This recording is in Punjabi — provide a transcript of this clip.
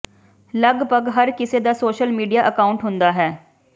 ਲਗਭਗ ਹਰ ਕਿਸੇ ਦਾ ਸੋਸ਼ਲ ਮੀਡੀਆ ਅਕਾਉਂਟ ਹੁੰਦਾ ਹੈ